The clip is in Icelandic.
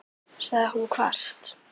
sagði hún hvasst.